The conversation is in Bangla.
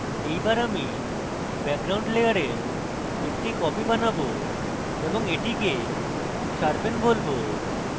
এইবার আমি background layer একটি copy বানাবো এবং এটিকে sharpen বলবো